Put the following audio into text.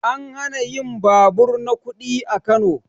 An hana yin babur na kuɗi a Kano